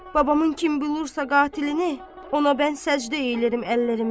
Babamın kim bilirsə qatilinə, ona mən səcdə edirəm əllərimi.